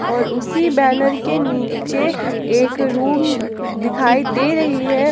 और उसी बैनर के नीचे एक रूम दिखाई दे रही है।